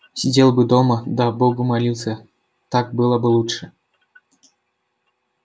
сидел бы дома да богу молился так было бы лучше